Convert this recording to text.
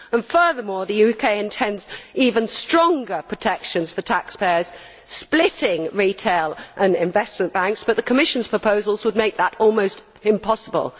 Furthermore, the UK plans even stronger protection for taxpayers, splitting retail and investment banks, but the Commission's proposals would make that almost impossible.